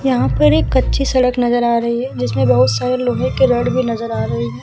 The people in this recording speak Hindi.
यहाँ पर एक कच्ची सड़क नज़र आ रही है जिसमें बहुत सारे लोहे के रड भी नज़र आ रहे हैं।